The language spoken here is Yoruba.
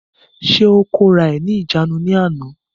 Ṣé ó kóra ẹ̀ ní ìjánu ní àná?